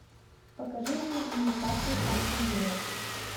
покажи мне ньюкасл астон вилла